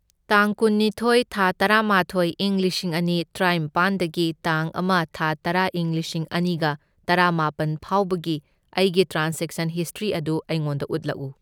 ꯇꯥꯡ ꯀꯨꯟꯅꯤꯊꯣꯏ ꯊꯥ ꯇꯔꯥꯃꯥꯊꯣꯏ ꯏꯪ ꯂꯤꯁꯤꯡ ꯑꯅꯤ ꯇ꯭ꯔꯥꯏꯝꯄꯥꯟꯗꯒꯤ ꯇꯥꯡ ꯑꯃ ꯊꯥ ꯇꯔꯥ ꯏꯪ ꯂꯤꯁꯤꯡ ꯑꯅꯤꯒ ꯇꯔꯥꯃꯥꯄꯟ ꯐꯥꯎꯕꯒꯤ ꯑꯩꯒꯤ ꯇ꯭ꯔꯥꯟꯖꯦꯛꯁꯟ ꯍꯤꯁꯇ꯭ꯔꯤ ꯑꯗꯨ ꯑꯩꯉꯣꯟꯗ ꯎꯠꯂꯛꯎ꯫